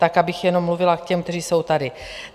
Tak abych jenom mluvila k těm, kteří jsou tady.